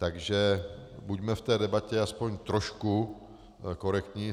Takže buďme v té debatě aspoň trošku korektní.